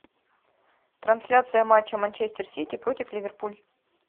трансляция матча манчестер сити против ливерпуль